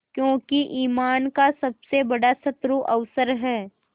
क्योंकि ईमान का सबसे बड़ा शत्रु अवसर है